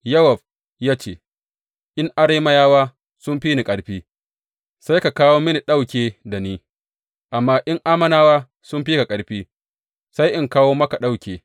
Yowab ya ce, In Arameyawa suka fi ni ƙarfi, sai ka kawo mini ɗauke da ni; amma in Ammonawa sun fi ka ƙarfi, sai in kawo maka ɗauke.